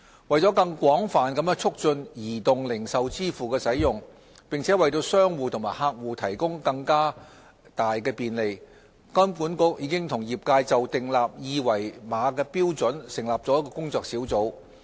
為了更廣泛地促進移動零售支付的使用，並為商戶和客戶提供更大便利，金管局已與業界就訂立二維碼標準成立了工作小組。